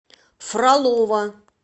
фролово